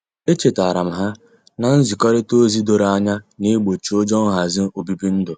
Echetaram ha na-nzikorita ozi doro anya na-egbochi ụjọ nhazi obibi ndu.